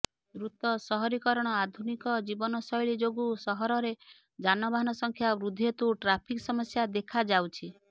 ଦ୍ରୁତ ସହରୀକରଣ ଆଧୁନିକ ଜୀବନଶୈଳୀ ଯୋଗୁଁ ସହରରେ ଯାନବାହାନ ସଂଖ୍ୟା ବୃଦ୍ଧି ହେତୁ ଟ୍ରାଫିକ ସମସ୍ୟା ଦେଖାଯାଉଛି